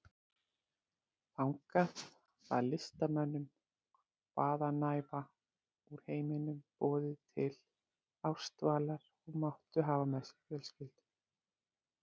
Þangað var listamönnum hvaðanæva úr heiminum boðið til ársdvalar og máttu hafa með sér fjölskyldur.